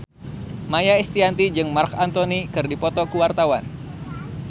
Maia Estianty jeung Marc Anthony keur dipoto ku wartawan